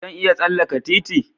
Zan iya tsallaka titi?